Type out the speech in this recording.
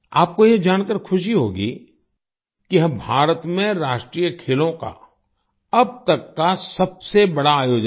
आपको यह जानकर खुशी होगी कि भारत में राष्ट्रीय खेलों का अब तक का सबसे बड़ा आयोजन था